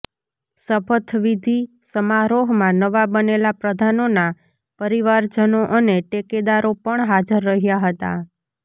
શપથવિધિ સમારોહમાં નવા બનેલા પ્રધાનોના પરિવારજનો અને ટેકેદારો પણ હાજર રહ્યા હતાં